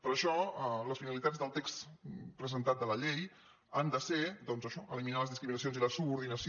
per això les finalitats del text presentat de la llei han de ser doncs això eliminar les discriminacions i la subordinació